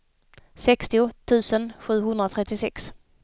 sextio tusen sjuhundratrettiosex